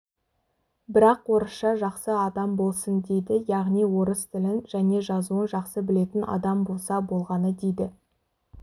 бірақ орысша жақсы адам болсын дейді яғни орыс тілін және жазуын жақсы білетін адам болса болғаны дейді